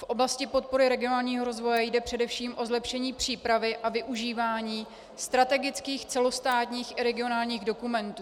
V oblasti podpory regionálního rozvoje jde především o zlepšení přípravy a využívání strategických celostátních i regionálních dokumentů.